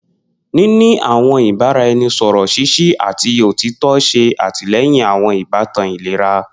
Nini awọn ibaraẹnisọrọ ṣiṣi ati otitọ ṣe atilẹyin awọn ibatan ilera